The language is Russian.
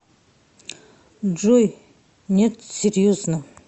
джой нет серьезно